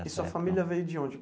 E sua família veio de onde?